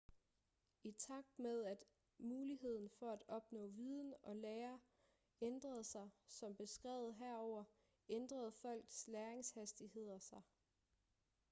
i takt med at muligheden for at opnå viden og lære ændrede sig som beskrevet herover ændrede folks læringshastigheder sig